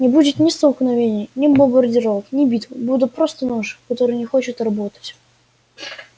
не будет ни столкновений ни бомбардировок ни битв будет просто нож который не хочет работать